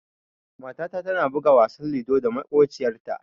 Matata tana buga wasan ludo da maƙociyarta.